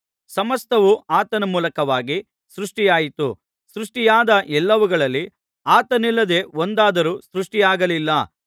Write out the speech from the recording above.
ಸಮಸ್ತವೂ ಆತನ ಮೂಲಕವಾಗಿ ಸೃಷ್ಟಿಯಾಯಿತು ಸೃಷ್ಟಿಯಾದ ಎಲ್ಲವುಗಳಲ್ಲಿ ಆತನಿಲ್ಲದೆ ಒಂದಾದರೂ ಸೃಷ್ಟಿಯಾಗಲಿಲ್ಲ